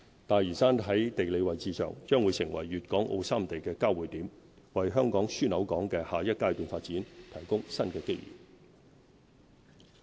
大嶼山在地理位置上，將會成為粵港澳三地的交匯點，為香港樞紐港的下一階段發展，提供新機遇。